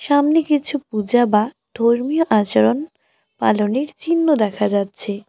সামনে কিছু পূজা বা ধর্মীয় আচরণ পালনের চিহ্ন দেখা যাচ্ছে।